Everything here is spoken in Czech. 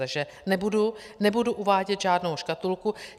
Takže nebudu uvádět žádnou škatulku.